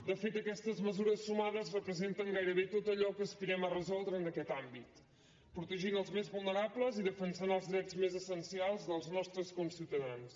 de fet aquestes mesures sumades representen gairebé tot allò que aspirem a resoldre en aquest àmbit protegint els més vulnerables i defensant els drets més essencials dels nostres conciutadans